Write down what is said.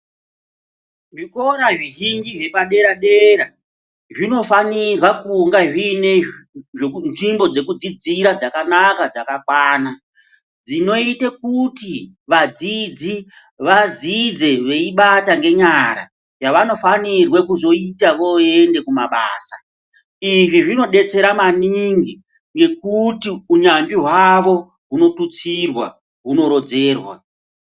Zvikora zvizhinji zvepadera-dera zvinofanirwa kunga zvine nzvimbo dzekudzidzira dzakanaka, dzakakwana. Dzinoite kuti vadzidzi vadzidze veibata ngenyara yavanofanirwe kuzoite voende kumabasa. Izvi zvinodetsera maningi ngekuti unyanzvi hwavo hunotutsirwa, hunorodzerwa .